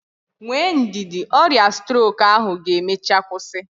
Nwee ndidi, ọrịa strok ahụ ga-emechaa kwụsị.